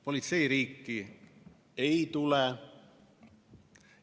Politseiriiki ei tule.